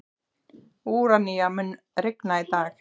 Úranía, mun rigna í dag?